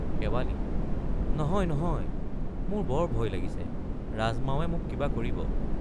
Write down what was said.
শেৱালি—নহয় নহয় মোৰ বৰ ভয় লাগিছে ৰাজমাৱে মোক কিবা কৰিব।